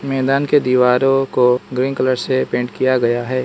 मैदान के दीवारों को ग्रीन कलर से पेंट किया गया है।